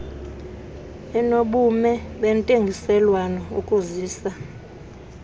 enobume bentengiselwano ukuzisa